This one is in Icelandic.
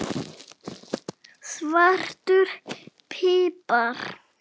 Svartur pipar